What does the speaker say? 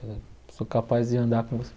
Eu sou capaz de andar com